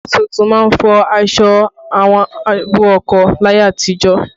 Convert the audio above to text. Ìyàwó tuntun máa ń fọ aṣọ àwọn àbúrò ọkọ láyé àtijọ́